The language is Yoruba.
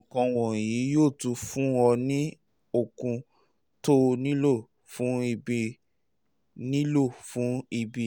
àwọn nǹkan wọ̀nyí yóò tún fún ọ ní okun tóo nílò fún ìbí nílò fún ìbí